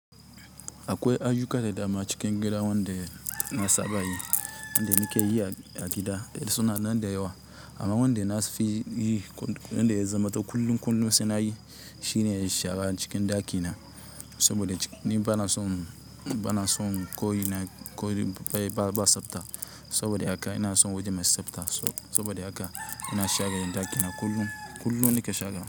Akwai ayyuka da dama cikin gidan wanda na saba yi, wanda nake yi a gida. Suna nan da yawa. Amma wanda na fi yi, wanda ya zama kullum kullum sai nayi shine shara cikin ɗakina. Saboda ni bana son, bana son koyi na, koyi ba, ba, ba, ba tsafta. Saboda haka ina son waje mai tsafta. Saboda haka ina share ɗakina kullum. Kullum nake share.